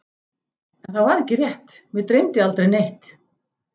En það var ekki rétt, mig dreymdi aldrei neitt.